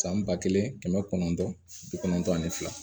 San ba kelen kɛmɛ kɔnɔntɔn bi kɔnɔntɔn ani fila